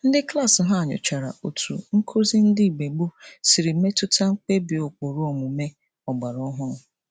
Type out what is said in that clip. Ndị klaasị ha nyochara otu nkụzi ndị mgbe gboo siri metụta mkpebi ụkpụrụ omume ọgbara ọhụrụ.